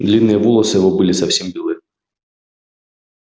длинные волосы его были совсем белы